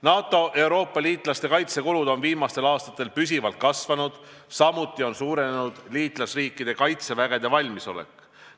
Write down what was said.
NATO Euroopa liitlaste kaitsekulud on viimastel aastatel püsivalt kasvanud, samuti on suurenenud liitlasriikide kaitsevägede valmisolek.